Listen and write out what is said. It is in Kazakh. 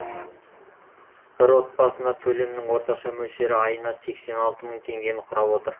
бір отбасына төлемнің орташа мөлшері айына сексен алты мың теңгені құрап отыр